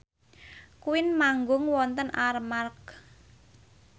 Queen manggung wonten Armargh